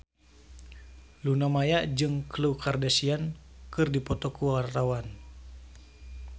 Luna Maya jeung Khloe Kardashian keur dipoto ku wartawan